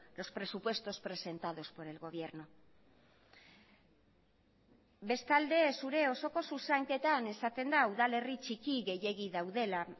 los presupuestos presentados por el gobierno bestalde zure osoko zuzenketan esaten da udalerri txiki gehiegi daudela